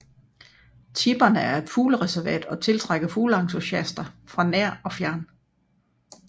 Tipperne er et fuglereservat og tiltrækker fugleentusiaster fra nær og fjern